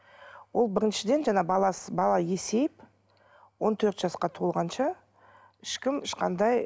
ол біріншіден жаңа бала есейіп он төрт жасқа толғанша ешкім ешқандай